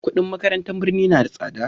kudin makarantun birni na da tsada